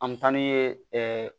An bɛ taa n'u ye ɛɛ